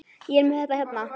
Ég er með þetta hérna.